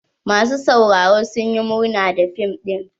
Masu sauraro sun yi murna da fim ɗin.